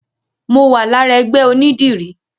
Mo wà lára ẹgbẹ́ onídìrí.